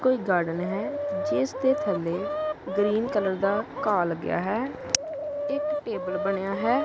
ਕੋਈ ਗਾਰਡਨ ਹੈ ਜਿਸ ਦੇ ਥੱਲੇ ਗਰੀਨ ਕਲਰ ਦਾ ਘਾਹ ਲੱਗਿਆ ਹੈ ਇਕ ਟੇਬਲ ਬਣਿਆ ਹੈ।